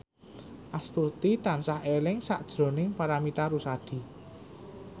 Astuti tansah eling sakjroning Paramitha Rusady